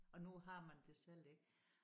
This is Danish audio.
Og nu har man det selv ik